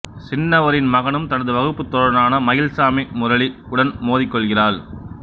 சின்னவரின் மகனும் தனது வகுப்புத் தோழனான மயில்சாமி முரளி உடன் மோதிக் கொள்கிறாள்